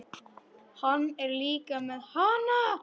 Hann er líka með HANA!